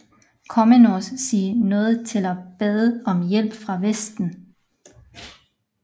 Komnenos sig nødt til at bede om hjælp fra Vesten